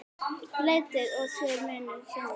Leitið og þér munuð finna!